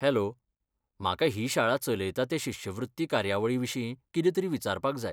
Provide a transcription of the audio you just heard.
Hello, म्हाका ही शाळा चलयता ते शिश्यवृत्ती कार्यावळीविशीं कितेंतरी विचारपाक जाय.